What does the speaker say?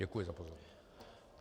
Děkuji za pozornost.